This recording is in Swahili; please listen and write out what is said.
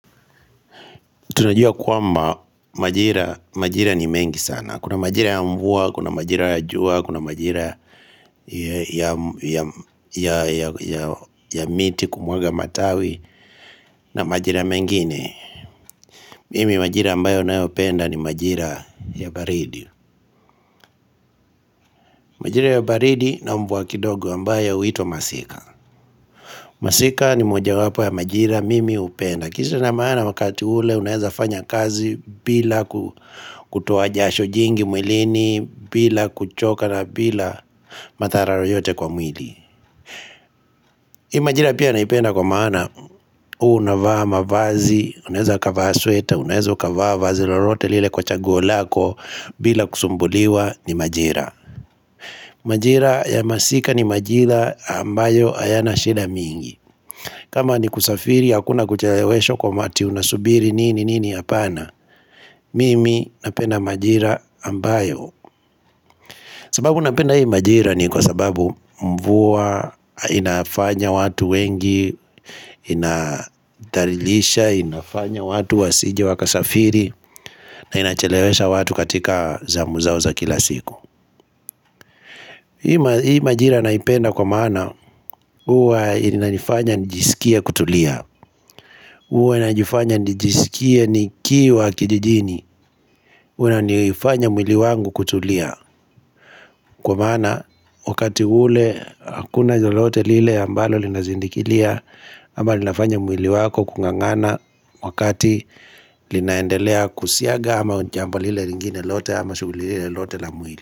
Tunajua kwamba majira ni mengi sana. Kuna majira ya mvua, kuna majira ya jua, kuna majira ya miti kumwaga matawi na majira mengine. Mimi majira ambayo nayopenda ni majira ya baridi. Majira ya baridi na mvua kidogo ambayo huitwa masika. Masika ni moja wapo ya majira mimi hupenda. Kisha na maana wakati ule unaeza fanya kazi bila kutoa jasho jingi mwilini bila kuchoka na bila madhara yoyote kwa mwili Hii majira pia naipenda kwa maana huwa unavaa mavazi, unaeza kavaa sweta, unaeza kavaa vazi lolote lile kwa chagu lako bila kusumbuliwa ni majira Majira ya masika ni majira ambayo hayana shida mingi kama ni kusafiri hakuna kucheleweshwa kwa mati unasubiri nini nini apana Mimi napenda majira ambayo sababu napenda hii majira ni kwa sababu mvua inafanya watu wengi Inadarilisha, inafanya watu wasije wakasafiri na inachelewesha watu katika zamu zao za kila siku Hii majira naipenda kwa maana huwa inanifanya nijisikie kutulia huwa inanifanya nijisikia ni kiwa kijijini huwa inanifanya mwili wangu kutulia Kwa maana wakati ule hakuna lolote lile ambalo linazindikilia ama linafanya mwili wako kungangana wakati linaendelea kusiaga ama jambo lile lingine lote ama shuguli lile lote la mwili.